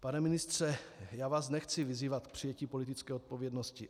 Pane ministře, já vás nechci vyzývat k přijetí politické odpovědnosti.